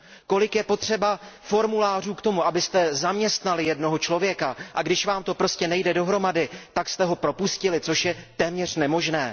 Kolik je potřeba formulářů k tomu, abyste zaměstnali jednoho člověka, a když vám to prostě nejde dohromady, tak abyste ho propustili, což je téměř nemožné?